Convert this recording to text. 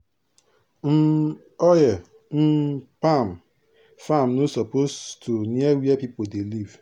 um oil um palm farm no suppose to near where people dey live.